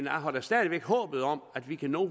har da stadig væk håbet om at vi kan nå at